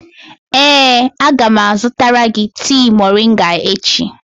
Ee, a ga m azụtara gị tea moringa echi.